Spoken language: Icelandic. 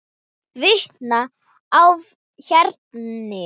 Vitni í héraði.